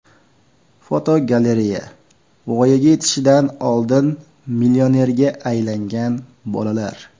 Fotogalereya: Voyaga yetishidan oldin millionerga aylangan bolalar.